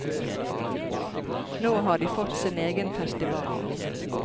Nå har de fått sin egen festival.